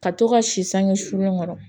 Ka to ka si sange sulen kɔrɔ